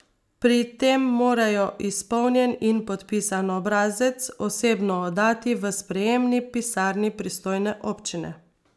Pri tem morajo izpolnjen in podpisan obrazec osebno oddati v sprejemni pisarni pristojne občine.